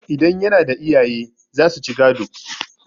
idan yana da iyaye za su ci gado